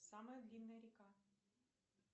самая длинная река